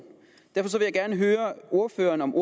derfor vil jeg gerne høre ordføreren om